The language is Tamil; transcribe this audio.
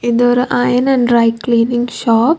இந்து ஒரு iron and dry cleaning shop .